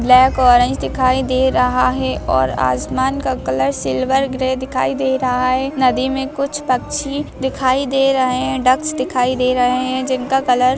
black orange दिखाई दे रहा है और आसमान का कलर सिल्वार ग्रे दिखाई दे रहा हैं नदी मे कुछ पक्छिया दिखाई दे रहे है डॉक्स दिखाई दे रहे है जिनका कलर --